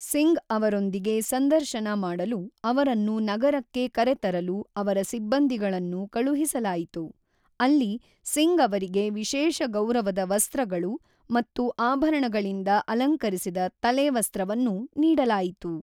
ಸಿಂಗ್‌ ಅವರೊಂದಿಗೆ ಸಂದರ್ಶನ ಮಾಡಲು ಅವರನ್ನು ನಗರಕ್ಕೆ ಕರೆತರಲು ಅವರ ಸಿಬ್ಬಂದಿಗಳನ್ನು ಕಳುಹಿಸಲಾಯಿತು, ಅಲ್ಲಿ ಸಿಂಗ್ ಅವರಿಗೆ ವಿಶೇಷ ಗೌರವದ ವಸ್ತ್ರಗಳು ಮತ್ತು ಆಭರಣಗಳಿಂದ ಅಲಂಕರಿಸಿದ ತಲೆವಸ್ತ್ರವನ್ನು ನೀಡಲಾಯಿತು.